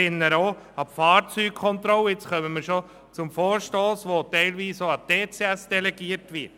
ich erinnere auch an die Fahrzeugkontrollen, die teilweise an den Touring Club der Schweiz (TCS) delegiert werden.